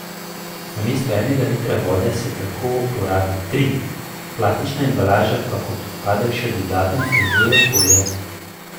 Namesto enega litra vode se tako porabi tri, plastična embalaža pa kot odpadek še dodatno onesnažuje okolje.